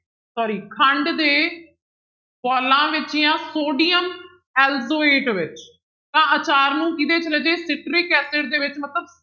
Sorry ਖੰਡ ਦੇ ਬੋਲਾਂ ਵਿੱਚ ਜਾਂ ਸੋਡੀਅਮ ਐਲਜੋਏਟ ਵਿੱਚ ਤਾਂ ਆਚਾਰ ਨੂੰ ਕਿਹਦੇ ਚ ਰਾਜੇ citric acid ਦੇ ਵਿੱਚ ਮਤਲਬ